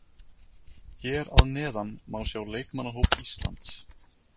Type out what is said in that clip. Hér að neðan má sjá leikmannahóp Íslands.